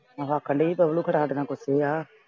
ਰੱਖ ਲਈ ਖ਼ਲਾ ਦੇਣਾ ਕੁਛ ਆ।